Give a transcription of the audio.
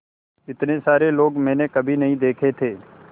इतने सारे लोग मैंने कभी नहीं देखे थे